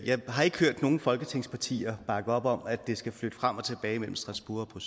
jeg har ikke hørt nogen folketingspartier bakke op om at det skal flytte frem og tilbage mellem strasbourg og